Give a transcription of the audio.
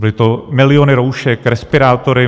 Byly to miliony roušek, respirátory.